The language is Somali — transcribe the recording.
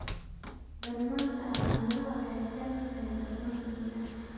Darnaanta calaamadaha waxay ku xiran tahay darnaanta dillaaca.